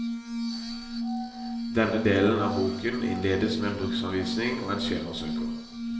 Denne delen av boken innledes med en bruksanvisning og en skjemasøker.